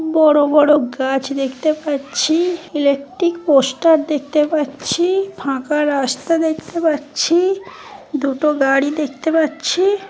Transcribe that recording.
বড় বড় গাছ দেখতে পাচ্ছি ইলেকট্রিক পোস্টার দেখতে পাচ্ছি ফাঁকা রাস্তা দেখতে পাচ্ছি দুটো গাড়ি দেখতে পাচ্ছি ।